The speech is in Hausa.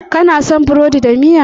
Kana son burodi da miya?